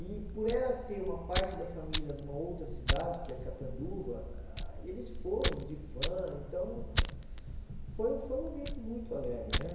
E por ela ter uma parte da família numa outra cidade, que é Catanduva, eles foram de van, então foi um foi um momento muito alegre, né?